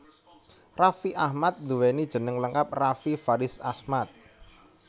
Raffi Ahmad nduwéni jeneng lengkap Raffi Faridz Ahmad